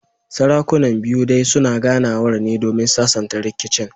Sarakunan biyu dai suna ganawar ne domin sasanta rikicin